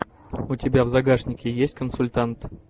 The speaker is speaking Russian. у тебя в загашнике есть консультант